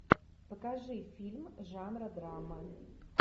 покажи фильм жанра драма